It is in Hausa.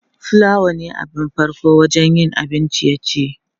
plawa ne abin farko wajen yin abun ciye-ciye.